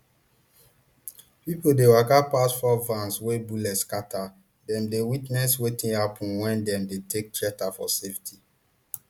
pipo dey waka pass four vans wey bullet scatter dem dey witness wetin happen wen dem dey take shelter for safety